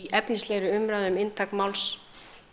efnislega umræðu um inntak máls